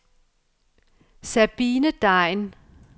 Sabine Degn